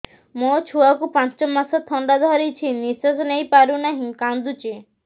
ମୋ ଛୁଆକୁ ପାଞ୍ଚ ମାସ ଥଣ୍ଡା ଧରିଛି ନିଶ୍ୱାସ ନେଇ ପାରୁ ନାହିଁ କାଂଦୁଛି